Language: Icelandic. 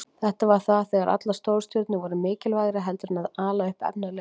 Þetta var þegar allar stórstjörnurnar voru mikilvægri heldur en að ala upp efnilega leikmenn.